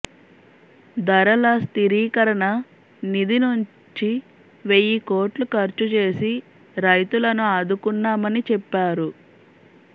ధరల స్థిరీకరణ నిధి నుంచి వెయ్యి కోట్లు ఖర్చు చేసి రైతులను ఆదుకున్నామని చెప్పారు